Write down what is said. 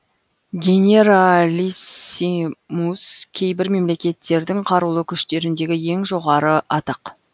генералиссимус кейбір мемлекеттердің қарулы күштеріндегі ең жоғары атақ